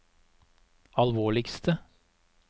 alvorligste